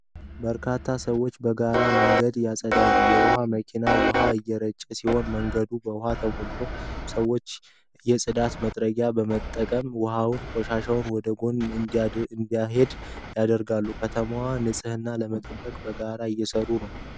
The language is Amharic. በርካታ ሰዎች በጋራ መንገድ ያጸዳሉ። የውኃ መኪና ውኃ እየረጨ ሲሆን መንገዱ በውኃ ተሞልቷል። ሰዎቹ የጽዳት መጥረጊያዎችን በመጠቀም ውኃውና ቆሻሻው ወደ ጎን እንዲሄድ ያደርጋሉ። የከተማዋን ንጽህና ለመጠበቅ በጋራ እየሠሩ ነው።